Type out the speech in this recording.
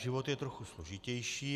Život je trochu složitější.